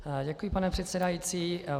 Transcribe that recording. Děkuji, pane předsedající.